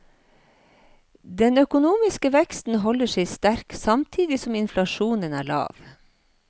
Den økonomiske veksten holder seg sterk, samtidig som inflasjonen er lav.